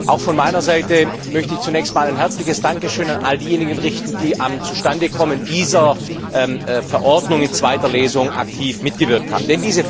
Auch von meiner Seite möchte ich zunächst ein herzliches Dankeschön an all diejenigen richten, die am Zustandekommen dieser Verordnung in zweiter Lesung aktiv mitgewirkt haben.